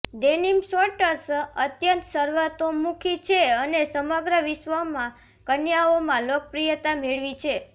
denim shorts અત્યંત સર્વતોમુખી છે અને સમગ્ર વિશ્વમાં કન્યાઓમાં લોકપ્રિયતા મેળવી છે